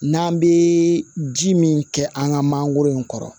N'an bɛ ji min kɛ an ka mangoro in kɔrɔ